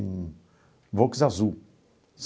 Um Volks azul.